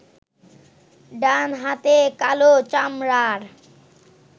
ডানহাতে কালো চামড়ার